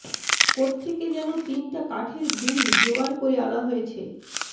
কোত্থেকে যেন তিনটা কাঠের গুঁড়ি জোগাড় করে আনা হয়েছে